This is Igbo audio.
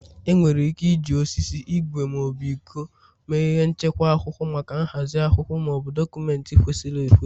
Enwere ike iji osisi, ígwè ma ọ bụ iko mee ihe nchekwa akwụkwọ maka nhazi akwụkwọ Maọbụ, dọkụmentị kwesịrị ekwesị